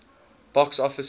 box office hit